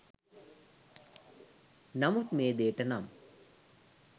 නමුත් මේ දේට නම්